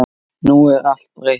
Nú er allt breytt.